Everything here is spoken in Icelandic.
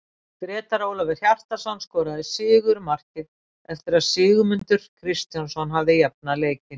Grétar Ólafur Hjartarson skoraði sigurmarkið eftir að Sigmundur Kristjánsson hafði jafnað leikinn.